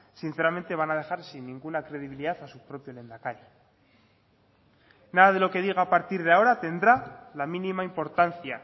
sinceramente van a dejar sin ninguna credibilidad a su propio lehendakari nada de lo que diga a partir de ahora tendrá la mínima importancia